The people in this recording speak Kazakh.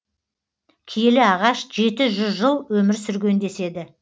киелі ағаш жеті жүз жыл өмір сүрген деседі